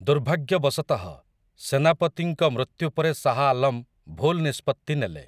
ଦୁର୍ଭାଗ୍ୟବଶତଃ, ସେନାପତିଙ୍କ ମୃତ୍ୟୁ ପରେ ଶାହ୍ ଆଲମ୍ ଭୁଲ ନିଷ୍ପତ୍ତି ନେଲେ ।